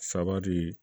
Saba de